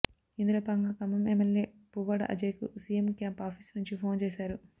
ఇందులో భాగంగా ఖమ్మం ఎమ్మెల్యే పువ్వాడ అజయ్ కు సీఎం క్యాంప్ ఆఫీసు నుంచి ఫోన్ చేశారు